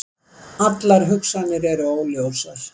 Allar hugsanir eru óljósar.